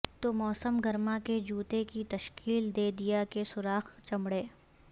تو موسم گرما کے جوتے کے تشکیل دے دیا کے سوراخ چمڑے